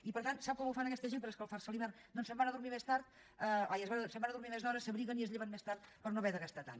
i per tant sap com ho fan aquesta gent per escalfar se a l’hivern doncs se’n van a dormir més d’hora s’abriguen i es lleven més tard per no haver de gastar tant